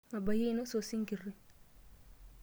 Mabayie ainosa osinkirri.